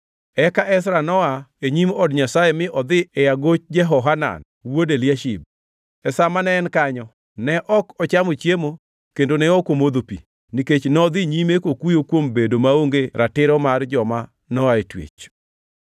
Eka Ezra noa e nyim od Nyasaye mi odhi e agoch Jehohanan wuod Eliashib. E sa mane en kanyo, ne ok ochamo chiemo kendo ne ok omodho pi, nikech nodhi nyime kokuyo kuom bedo maonge ratiro mar joma noa e twech.